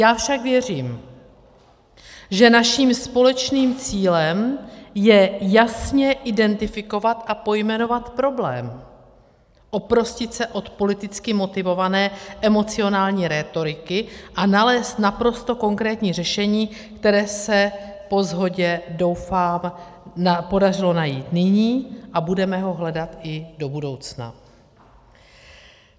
Já však věřím, že naším společným cílem je jasně identifikovat a pojmenovat problém, oprostit se od politicky motivované emocionální rétoriky a nalézt naprosto konkrétní řešení, které se po shodě, doufám, podařilo najít nyní, a budeme ho hledat i do budoucna.